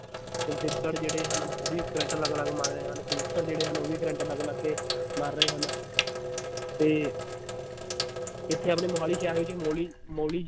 ਚਮਗਿੱਦੜ ਜਿਹੜੇ ਹਨ ਉਹ ਵੀ ਕਰੰਟ ਲਗ ਲਗ ਮਰ ਰਹੇ ਹਨ ਕਬੂਤਰ ਜਿਹੜੇ ਹਨ ਉਹ ਵੀ ਕਰੰਟ ਲਗ ਲਗ ਕੇ ਮਰ ਰਹੇ ਹਨ ਤੇ ਇਥੇ ਆਪਣੇ ਮੋਹਾਲੀ ਸ਼ਹਿਰ ਵਿਚ ਇੱਕ ਮੋਲੀ ਮੋਲੀ